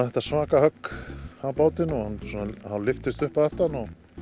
þetta svaka högg á bátinn og hann hálf lyftist upp að aftan